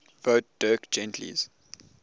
wrote dirk gently's